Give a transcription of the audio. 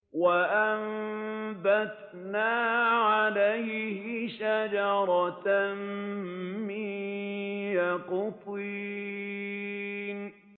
وَأَنبَتْنَا عَلَيْهِ شَجَرَةً مِّن يَقْطِينٍ